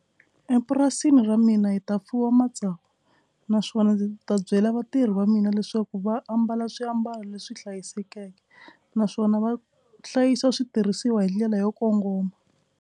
Epurasini ra mina hi ta fuwa matsavu naswona ndzi ta byela vatirhi va mina leswaku va ambala swiambalo leswi hlayisekeke naswona va hlayisa switirhisiwa hi ndlela yo kongoma.